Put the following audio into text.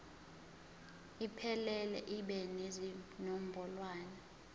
iphelele ibe nezinombolwana